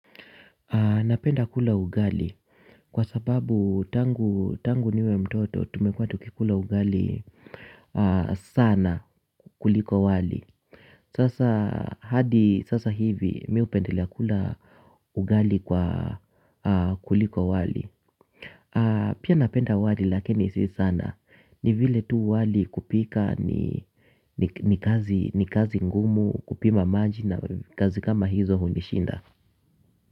Napenda kula ugali kwa sababu tangu niwe mtoto tumekua tukikula ugali sana kuliko wali. Sasa hadi sasa hivi mi hupendelea kula ugali kwa kuliko wali. Pia napenda wali lakini si sana. Ni vile tu wali kupika ni kazi ngumu kupima maji na kazi kama hizo hunishinda.